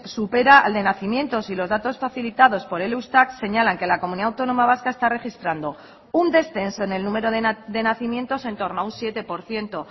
supera al de nacimientos y los datos facilitados por el eustat señalan que la comunidad autónoma vasca está registrando un descenso en el número de nacimientos en torno a un siete por ciento